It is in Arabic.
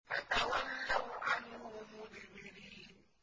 فَتَوَلَّوْا عَنْهُ مُدْبِرِينَ